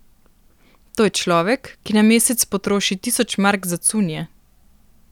To je človek, ki na mesec potroši tisoč mark za cunje!